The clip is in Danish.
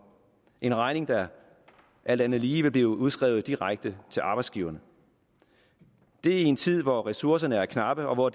en regning der alt andet lige vil blive udskrevet direkte til arbejdsgiverne og det i en tid hvor ressourcerne er knappe og hvor